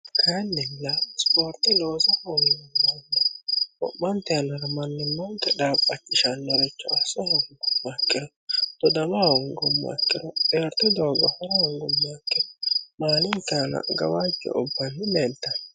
kaayiinilla ispoorte loosa hoogummoronna wo'mante yannara mannimanke dhaabachishannoricho osa hongummoha ikkiro tdodama hongummoha ikkiro xeerto doogo hora hongummoha ikkiro maalinke aana gawajjo ubbanni leeltanno